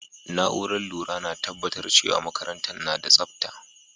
Naúrar lura na tabatar cewa makarantan na tsabta.